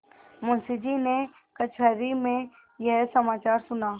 मुंशीजी ने कचहरी में यह समाचार सुना